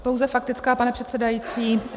Pouze faktická, pane předsedající.